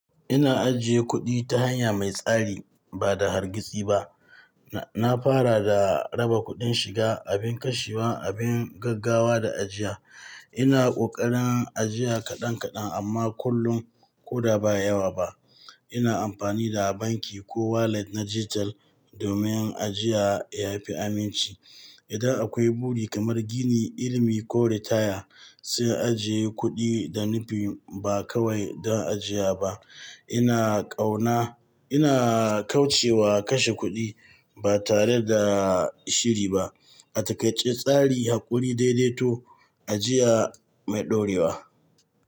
Ina ajiye kuɗi ta hanya mai tsari ba da hargitsi ba. Na fara da raba kuɗin shiga, abin kashewa, abin gaggawa da ajiya. Ina ƙoƙarin ajiya kaɗan kaɗan amma kullum ko da ba yawa ba. Ina amfani da banki ko wallet na dijital domin ajiya yafi aminci. Idan akwai buri kamar gini, ilimi ko ritaya, sai ajiye kuɗi da nufi ba kawai don ajiya ba. Ina ƙauna, ina kauce wa kashe kuɗi ba tare da shiri ba. A takaice tsari, haƙuri, daidaito, ajiya mai ɗorewa.